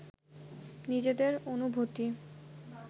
নিজেদের অনুভূতি